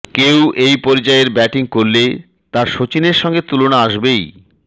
কেউ এই পর্যায়ের ব্যাটিং করলে তো সচিনের সঙ্গে তুলনা আসবেই